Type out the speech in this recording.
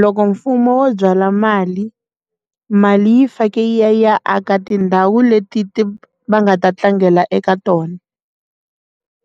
Loko mfumo wo byala mali mali yi fake ya aka tindhawu leti ti va nga ta tlangela eka tona